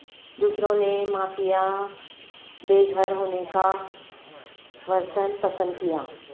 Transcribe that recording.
دوسروں نے مافیا بے گھر ہونے کا ورژن پسند کیا